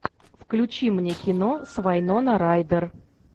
включи мне кино с вайнона райдер